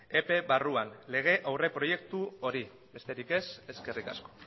epe barruan lege aurreproiektu hori besterik ez eskerrik asko